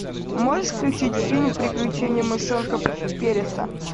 можешь включить фильм приключение мышонка переса